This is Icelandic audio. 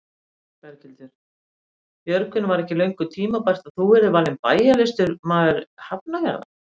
Berghildur: Björgvin var ekki löngu tímabært að þú yrðir valinn bæjarlistamaður Hafnarfjarðar?